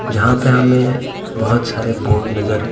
जहाँ पे हमें बहुत सारे बोर्ड नजर--